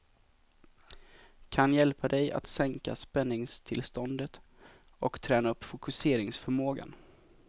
Kan hjälpa dig att sänka spänningstillståndet och träna upp fokuseringsförmågan.